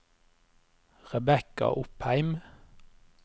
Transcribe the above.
Rebekka Opheim